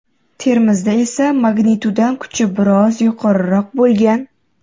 Termizda esa magnituda kuchi biroz yuqoriroq bo‘lgan.